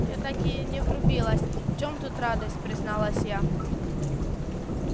я так и не врубилась в чем тут радость призналась я